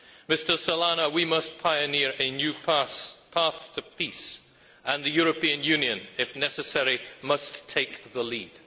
Mr Solana, we must pioneer a new path to peace, and the European Union, if necessary, must take the lead.